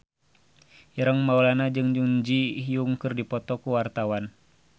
Ireng Maulana jeung Jun Ji Hyun keur dipoto ku wartawan